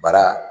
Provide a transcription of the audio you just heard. Bara